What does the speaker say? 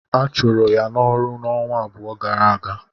Ha chụrụ ya n'ọrụ ọnwa abụọ gara aga.